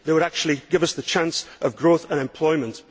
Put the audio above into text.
They would actually give us the chance of growth and employment.